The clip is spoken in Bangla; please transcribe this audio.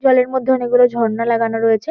জলের মধ্যে অনেকগুলো ঝর্ণা লাগানো রয়েছে।